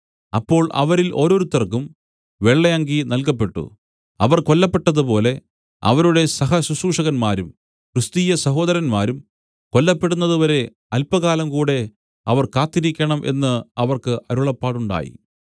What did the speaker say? അപ്പോൾ അവരിൽ ഓരോരുത്തർക്കും വെള്ളയങ്കി നൽകപ്പെട്ടു അവർ കൊല്ലപ്പെട്ടതുപോലെ അവരുടെ സഹശുശ്രുഷകന്മാരും ക്രിസ്തീയ സഹോദരന്മാരും കൊല്ലപ്പെടുന്നതുവരെ അല്പകാലം കൂടെ അവർ കാത്തിരിക്കണം എന്നു അവർക്ക് അരുളപ്പാടുണ്ടായി